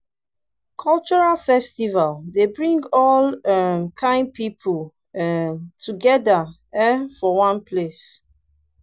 cultural festival dey bring all um kain people um together um for one place